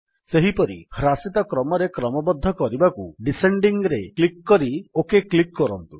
ସେହିପରି ହ୍ରାସିତ କ୍ରମରେ କ୍ରମବଦ୍ଧ କରିବାକୁ ଡିସେଣ୍ଡିଂ ରେ କ୍ଲିକ୍ କରି ଓକ୍ କ୍ଲିକ୍ କରନ୍ତୁ